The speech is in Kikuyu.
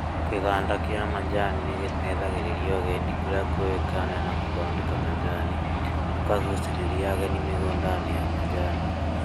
Kĩganda kĩa macani nĩgĩteithagĩrĩria ũgendi kũrĩa kũĩkaine na gũthondeka macani, gũkagucĩrĩria ageni mĩgũndainĩ ya macani